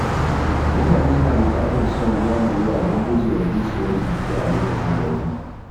Mutane na bukatar shan ruwa mai yawa don gujewa bushewar jiki a lokacin zafi.